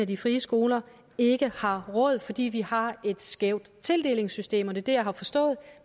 de frie skoler ikke har råd fordi vi har et skævt tildelingssystem og det er det jeg har forstået